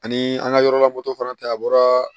Ani an ka yɔrɔ la moto fana tɛ a bɔra